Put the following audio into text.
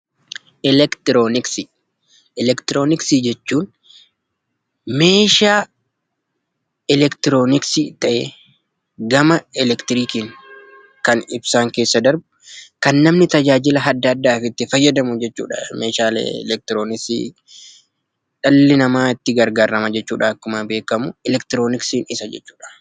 Elektirooniksii: Elektirooniksii jechuun meeshaa elektirooniksii ta'ee gama elektirikiin kan ibsaan keessa darbu, kan namni tajaajila adda addaatiif itti fayyadamu jechuudha, meeshaalee elektirooniksii. Dhalli namaa itti gargaarama jechuudha akkuma beekamu. Elektirooniksii jechuun isa jechuudha.